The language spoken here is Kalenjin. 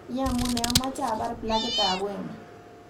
Iyamunee amache abar plakitab wemo